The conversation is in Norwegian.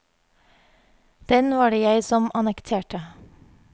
Den var det jeg som annekterte.